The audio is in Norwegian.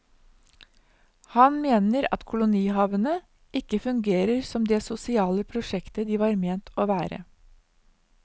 Han mener at kolonihavene ikke fungerer som det sosiale prosjektet de var ment å være.